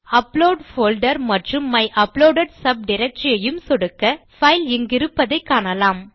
upload folder மற்றும் my uploaded subdirectory ஐ சொடுக்க பைல் இங்கிருப்பதை காணலாம்